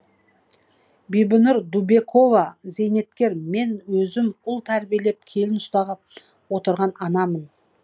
бибінұр дубекова зейнеткер мен өзім ұл тәрбиелеп келін ұстап отырған анамын